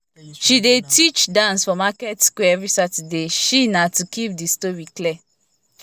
she dey teach dance for market square every saturday she nah to keep the story clear